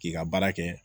K'i ka baara kɛ